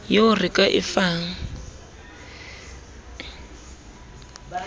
yeo re ka e fang